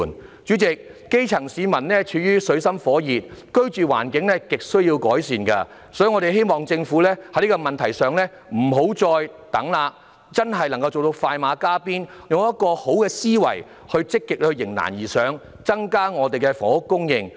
代理主席，基層市民處於水深火熱之中，居住環境亟需要改善，所以我們希望政府在這問題上不要再遲疑，要快馬加鞭，用良好的思維積極地迎難而上，增加房屋供應。